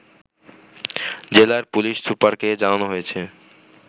জেলার পুলিশ সুপারকে জানানো হয়েছে